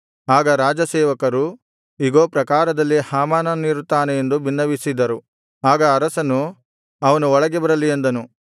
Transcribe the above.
ಆಗ ರಾಜಸೇವಕರು ಇಗೋ ಪ್ರಾಕಾರದಲ್ಲಿ ಹಾಮಾನನಿರುತ್ತಾನೆ ಎಂದು ಬಿನ್ನವಿಸಿದರು ಆಗ ಅರಸನು ಅವನು ಒಳಗೆ ಬರಲಿ ಅಂದನು